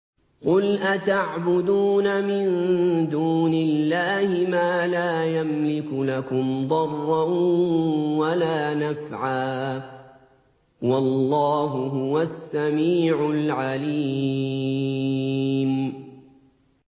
قُلْ أَتَعْبُدُونَ مِن دُونِ اللَّهِ مَا لَا يَمْلِكُ لَكُمْ ضَرًّا وَلَا نَفْعًا ۚ وَاللَّهُ هُوَ السَّمِيعُ الْعَلِيمُ